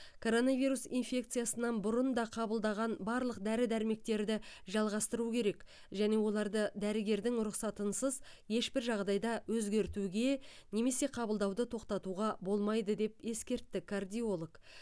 коронавирус инфекциясынан бұрын да қабылдаған барлық дәрі дәрмектерді жалғастыру керек және оларды дәрігердің рұқсатынсыз ешбір жағдайда өзгертуге немесе қабылдауды тоқтатуға болмайды деп ескертті кардиолог